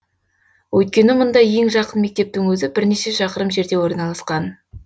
өйткені мұнда ең жақын мектептің өзі бірнеше шақырым жерде орналасқан